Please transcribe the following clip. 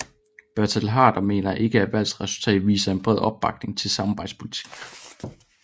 Bertel Haarder mener ikke at valgresultatet viser en bred opbakning til samarbejdspolitikken